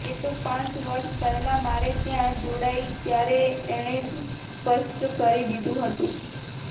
એ તો પાંચ વર્ષ પહેલાં મારે ત્યાં જોડાઈ ત્યારે એણે જ સ્પષ્ટ કરી દીધું હતું